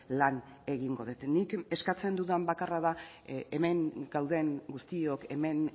lan egingo dut nik eskatzen dudan bakarra da hemen gauden guztiok hemen